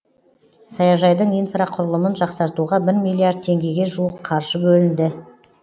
саяжайдың инфрақұрылымын жақсартуға бір миллиард теңгеге жуық қаржы бөлінді